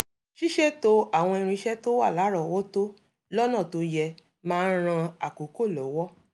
ṣíṣètò àwọn irinṣẹ́ tó wà lárọ̀ọ́wọ́tó lọ́nà tó yẹ máa n ran àkókò lọ́wọ́